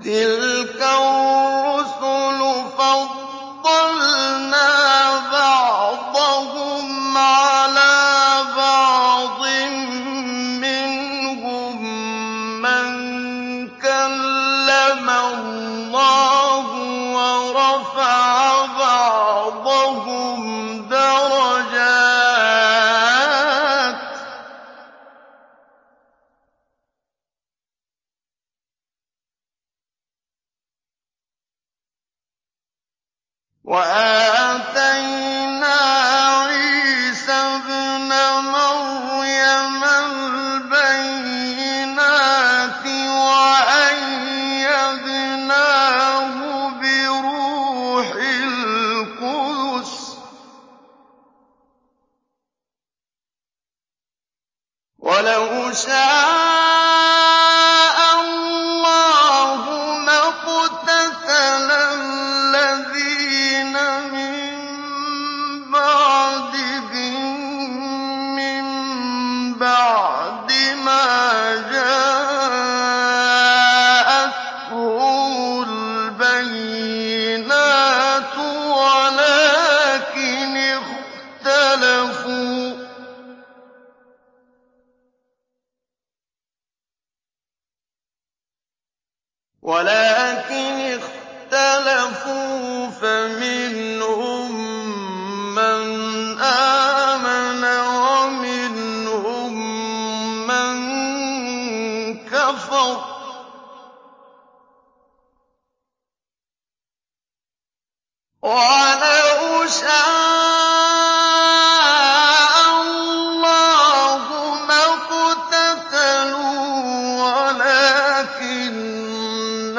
۞ تِلْكَ الرُّسُلُ فَضَّلْنَا بَعْضَهُمْ عَلَىٰ بَعْضٍ ۘ مِّنْهُم مَّن كَلَّمَ اللَّهُ ۖ وَرَفَعَ بَعْضَهُمْ دَرَجَاتٍ ۚ وَآتَيْنَا عِيسَى ابْنَ مَرْيَمَ الْبَيِّنَاتِ وَأَيَّدْنَاهُ بِرُوحِ الْقُدُسِ ۗ وَلَوْ شَاءَ اللَّهُ مَا اقْتَتَلَ الَّذِينَ مِن بَعْدِهِم مِّن بَعْدِ مَا جَاءَتْهُمُ الْبَيِّنَاتُ وَلَٰكِنِ اخْتَلَفُوا فَمِنْهُم مَّنْ آمَنَ وَمِنْهُم مَّن كَفَرَ ۚ وَلَوْ شَاءَ اللَّهُ مَا اقْتَتَلُوا وَلَٰكِنَّ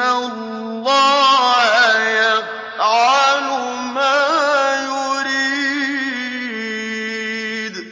اللَّهَ يَفْعَلُ مَا يُرِيدُ